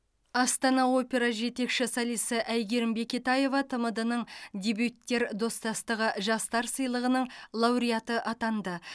астана опера жетекші солисі әйгерім бекетаева тмд ның дебюттер достастығы жастар сыйлығының лауреаты атанды